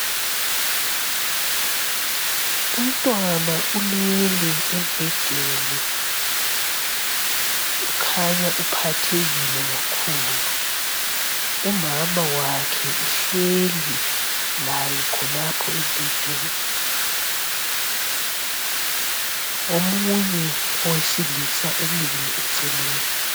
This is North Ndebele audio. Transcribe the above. Umntwana ulele embhedeni kukhanya uphathekile kakhulu, umama wakhe uhleli laye khonapha embhedeni. Omunye owesilisa umile eceleni.